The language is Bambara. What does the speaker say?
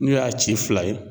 N'u y'a ci fila ye